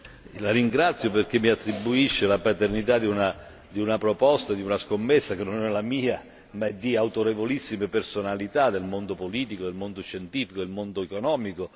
La ringrazio perché mi attribuisce la paternità di una proposta, di una scommessa che non è la mia ma di autorevolissime personalità del mondo politico, scientifico ed economico.